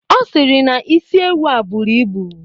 Ọ sịrị na isi ewu a buru ibu